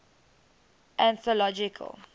anthological